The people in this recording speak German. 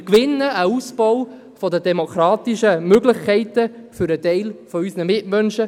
Wir gewinnen einen Ausbau der demokratischen Möglichkeiten für einen Teil unserer Mitmenschen.